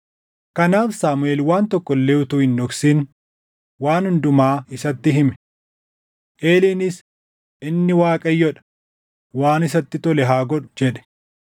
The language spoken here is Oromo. Kanaaf Saamuʼeel waan tokko illee utuu hin dhoksin waan hundumaa isatti hime. Eeliinis, “Inni Waaqayyoo dha; waan isatti tole haa godhu” jedhe.